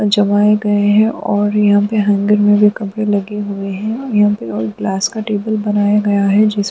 जमाए गए हैं और यहां पर हैंगर में भी कपड़े लगे हुए हैं और यहां पे ग्लास का टेबल बनाया गया है। जिस --